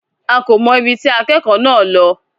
A kò mọ̀ ibi tí akẹ́kọ̀ọ́ náà lọ.